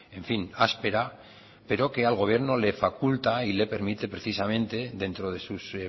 en fin áspera pero que al gobierno le faculta y le permite precisamente dentro de sus